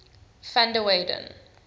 van der weyden